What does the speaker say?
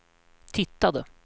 tittade